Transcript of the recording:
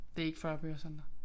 Det ikke 40 bøger Sander